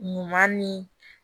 Ɲuman ni